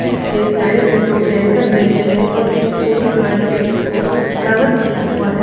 इसके साइड में दो टैंकर जैसे हैं और एक छोटी गाड़ी है जिसको कावर किया हुआ है।